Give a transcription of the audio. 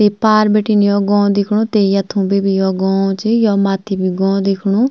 ते पार बीटिन योक गौं दिख्णु ते यथों भी भी योक गौं च यो मथ्थी भी गौं दिख्णु।